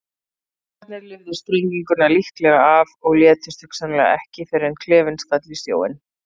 Geimfararnir lifðu sprenginguna líklega af og létust hugsanlega ekki fyrr en klefinn skall í sjóinn.